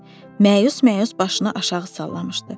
Məyus-məyus başını aşağı sallamışdı.